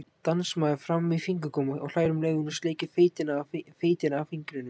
Dansmaður-fram-í-fingurgóma, og hlær um leið og hún sleikir feitina af fingrunum.